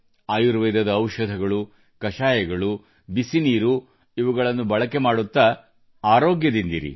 ಆಯುರ್ವೇದದ ಔಷಧಗಳು ಕಷಾಯಗಳು ಬಿಸಿ ನೀರುಇವುಗಳನ್ನು ಬಳಕೆ ಮಾಡುತ್ತ ಆರೋಗ್ಯದಿಂದಿರಿ